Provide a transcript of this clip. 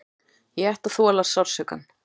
Ég ætti að þola sársaukann.